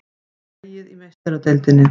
Dregið í Meistaradeildinni